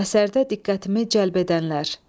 Əsərdə diqqətimi cəlb edənlər.